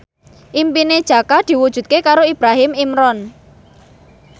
impine Jaka diwujudke karo Ibrahim Imran